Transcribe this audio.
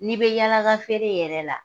Ne bɛ yaala ka feere yɛrɛ la